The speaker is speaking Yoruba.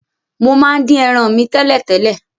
Mo máa n dín eran mi tẹ̀lẹ́tẹ̀lẹ́